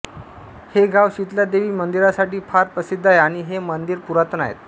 हे गाव शितलादेवी मंदिरासाठी फार प्रसिद्ध आहे आणि हे मंदिर पुरातन आहे